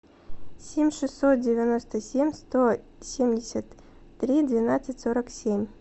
семь шестьсот девяносто семь сто семьдесят три двенадцать сорок семь